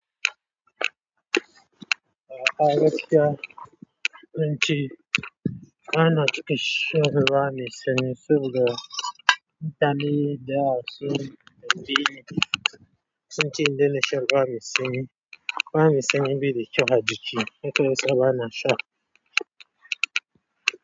Gaskiya zance bana cika son ruwa me sanyi.